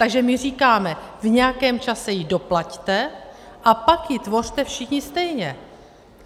Takže my říkáme: v nějakém čase ji doplaťte a pak ji tvořte všichni stejně.